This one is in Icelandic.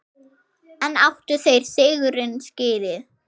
En áttu þeir sigurinn skilið?